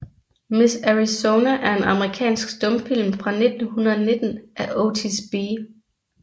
Miss Arizona er en amerikansk stumfilm fra 1919 af Otis B